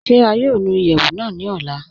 Ṣé à yóò nù ìyẹwu náà ní òlà?